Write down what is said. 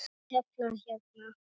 Ég elska að tefla hérna.